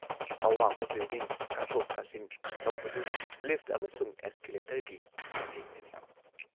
ꯑꯋꯥꯡꯕ ꯕꯤꯜꯗꯤꯡ ꯀꯥꯊꯣꯛ ꯀꯥꯁꯤꯟ ꯇꯧꯕꯗꯨ ꯂꯤꯐꯠ ꯑꯃꯁꯨꯡ ꯑꯦꯁꯀꯦꯂꯦꯇꯔꯒꯤ ꯃꯇꯦꯡꯅꯅꯤ ꯫